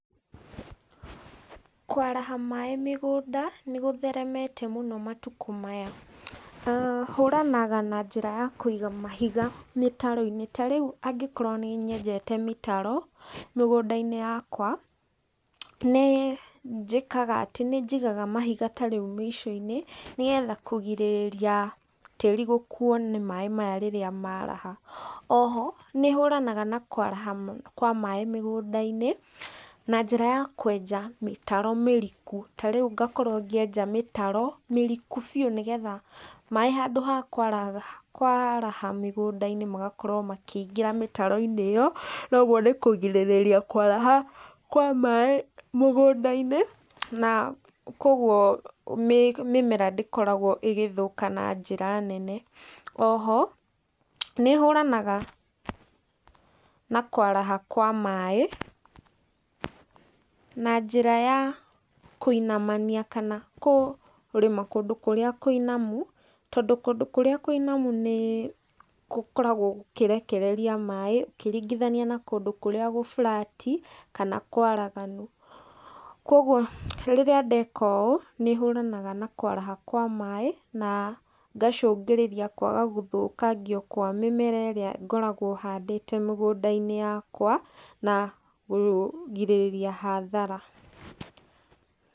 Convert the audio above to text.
Kwaraha maĩ mĩgũnda, nĩ gũtheremete mũno matukũ maya, aah hũranaga na njĩra ya kũiga mahiga mĩtaro-inĩ, ta rĩu angĩkorwo nĩnyenjete mĩtaro mĩgũnda-inĩ yakwa, nĩ njĩkaga atĩ nĩ njigaga mahiga ta rĩu mĩico-inĩ nĩgetha kũgirĩrĩria tĩri gũkuo nĩ maĩ maya rĩrĩa maraha. Oho nĩ hũranaga na kwaraha kwa maĩ mĩgũnda-inĩ na njĩra ya kwenja mĩtaro mĩriku, ta rĩu ngakorwo ngĩenja mĩtaro mĩriku biũ nĩgetha maĩ handũ ha kwaraha kwaraha mĩgũnda-inĩ magakorwo makĩingĩra mĩtaro-inĩ ĩyo, noguo nĩ kũgirĩrĩria kwaraha kwa maĩ mũgũnda-inĩ, na koguo mĩmera ndĩkoragwo ĩgĩthũka na njĩra nene. Oho nĩ hũranaga na kwaraha kwa maĩ na njĩra ya kũinamania kana kũrĩma kũndũ kũrĩa kũinamu, tondũ kũndũ kũrĩa kũinamu nĩ gũkoragwo gũkĩrekereria maĩ ũkĩringithania na kũndũ kũrĩa gũ flat i kana kwaraganu. Koguo rĩrĩa ndeka ũũ nĩ hũranaga na kwaraha kwa maĩ, na ngacũngĩrĩria kwaga gũthũkangio kwa mĩmera ĩrĩa ngoragwo handĩte mĩgũnda-inĩ yakwa na kũgirĩrĩria hathara.